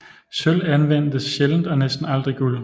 Sølv anvendtes sjældent og næsten aldrig guld